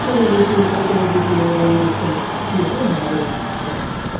কোথায় গিয়েছিলি কতক্ষণে গেছিলে বাবা ও জিজ্ঞেস করল কি রে hi just